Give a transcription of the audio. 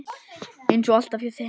Eins og alltaf hjá þeim.